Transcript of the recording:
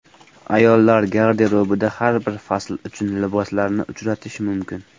Ayollar garderobida har bir fasl uchun liboslarni uchratish mumkin.